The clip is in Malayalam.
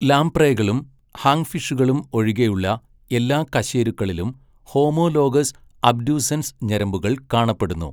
ലാംപ്രേകളും ഹാഗ്ഫിഷുകളും ഒഴികെയുള്ള എല്ലാ കശേരുക്കളിലും ഹോമോലോഗസ് അബ്ഡ്യൂസെൻസ് ഞരമ്പുകൾ കാണപ്പെടുന്നു.